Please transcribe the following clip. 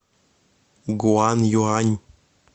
гуанъюань